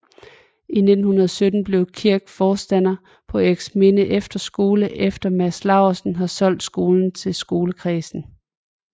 I 1917 bliver Kirk forstander på Eriksminde Efterskole efter at Mads Laursen har solgt skolen til skolekredsen